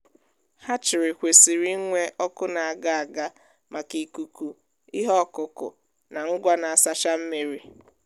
hachirii kwesịrị inwe ọkụ na-aga n’aga maka ikuku ihe ọkụ ọkụ na ngwa na-asacha mmiri.